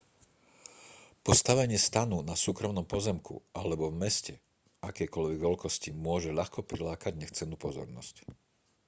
postavenie stanu na súkromnom pozemku alebo v meste akejkoľvek veľkosti môže ľahko prilákať nechcenú pozornosť